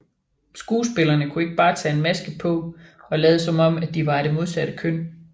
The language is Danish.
Skuespillerne kunne ikke bare tage en maske på og lade som om de var af det modsatte køn